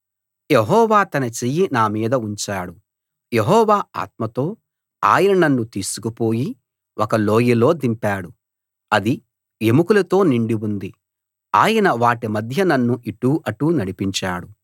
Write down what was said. యెహోవా తన చెయ్యి నా మీద ఉంచాడు యెహోవా ఆత్మతో ఆయన నన్ను తీసుకుపోయి ఒక లోయలో దింపాడు అది ఎముకలతో నిండి ఉంది ఆయన వాటి మధ్య నన్ను ఇటూ అటూ నడిపించాడు